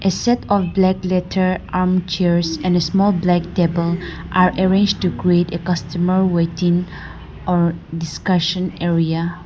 set of black leather and chairs and a small black table are arrange to create a customer waiting or discussion area.